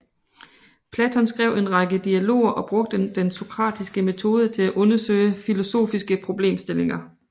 Platon skrev en række dialoger og brugte den sokratiske metode til at undersøge filosofiske problemstillinger